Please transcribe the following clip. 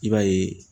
I b'a ye